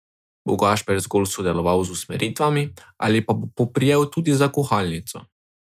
Bo Gašper zgolj sodeloval z usmeritvami ali pa bo poprijel tudi za kuhalnico?